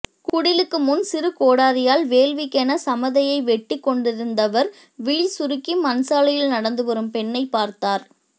குடிலுக்கு முன் சிறு கோடரியால் வேள்விக்கென சமதையை வெட்டிக்கொண்டிருந்தவர் விழி சுருக்கி மண்சாலையில் நடந்து வரும் பெண்ணை பார்த்தார்